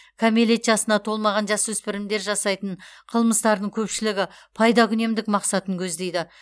кәмелет жасына толмаған жасөспірімдер жасайтын қылмыстардың көпшілігі пайдакүнемдік мақсатын көздейді